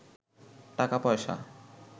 টাকা পয়সা